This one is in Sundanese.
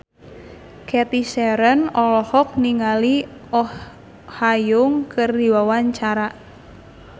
Cathy Sharon olohok ningali Oh Ha Young keur diwawancara